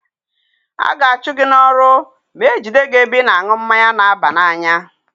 A ga-achụ gị n'ọrụ ma ejide gị na-ebe ị na-aṅụ mmanya na-aba na-anya.